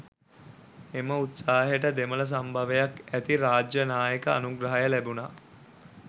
එම උත්සාහයට දෙමළ සම්භවයක් ඇති රාජ්‍යනායක අනුග්‍රහය ලැබුනා